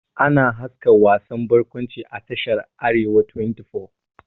Ana haska wasan bakwanci a tashar "arewa 24 ''